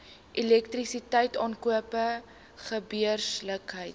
elektrisiteit aankope gebeurlikhede